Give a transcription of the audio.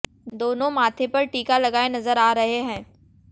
दोनों माथे पर टीका लगाए नजर आ रहे हैं